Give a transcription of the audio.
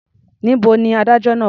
Níbo ni adájọ́ náà wà?